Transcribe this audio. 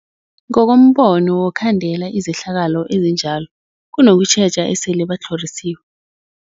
Ngokombono wokhandela izehlakalo ezinjalo kunokutjheja esele batlhorisiwe.